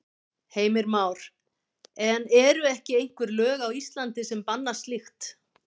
Heimir Már: En eru ekki einhver lög á Íslandi sem banna slíkt?